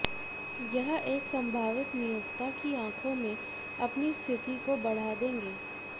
यह एक संभावित नियोक्ता की आँखों में अपनी स्थिति को बढ़ा देंगे